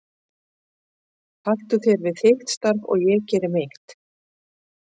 Haltu þér við þitt starf og ég geri mitt.